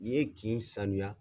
N'i ye kin sanuya